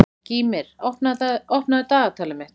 Gýmir, opnaðu dagatalið mitt.